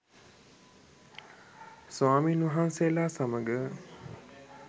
ස්වාමීන් වහන්සේලා සමඟ